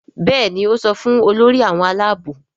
Béèni o so fún Olórí àwọn Àlàabò.